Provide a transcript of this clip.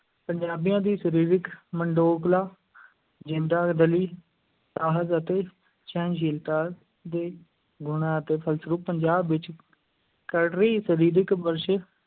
ਪੰਜਾਬੀਆਂ ਦੀ ਸਰੀਰਿਕ ਜ਼ਿੰਦਾ-ਦਿਲੀ, ਸਾਹਸ ਅਤੇ ਸਹਿਨਸ਼ੀਲਤਾ ਦੇ ਗੁਣਾਂ ਦੇ ਫਲਸਰੂਪ ਪੰਜਾਬ ਵਿੱਚ ਕਰੜੀ ਸਰੀਰਿਕ ਵਰਜ਼ਸ਼,